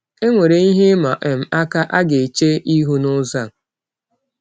Enwere ihe ịma um aka a ga-eche ihu n’ụzọ a.